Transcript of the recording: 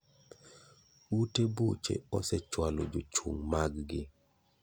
Ute buche osechwalo jochung mag gi.